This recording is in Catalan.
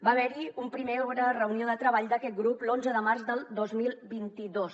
va haver hi una primera reunió de treball d’aquest grup l’onze de març del dos mil vint dos